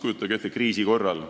Kujutage ette kriisiolukorda.